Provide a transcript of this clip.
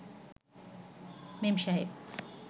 মেম সাহেব